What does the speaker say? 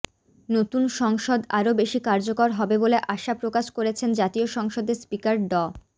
নতুন সংসদ আরও বেশি কার্যকর হবে বলে আশা প্রকাশ করেছেন জাতীয় সংসদের স্পিকার ড